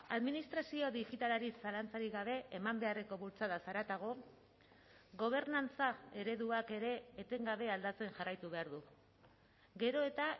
administrazio digitalari zalantzarik gabe eman beharreko bultzadaz haratago gobernantza ereduak ere etengabe aldatzen jarraitu behar du gero eta